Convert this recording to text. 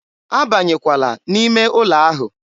a banyekwala n'ime ụlọ ahụ!